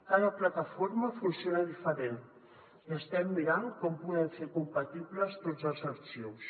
cada plataforma funciona diferent i estem mirant com podem fer compatibles tots els arxius